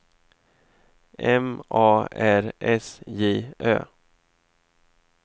M A R S J Ö